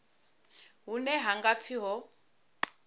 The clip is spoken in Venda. hune ha nga pfi ho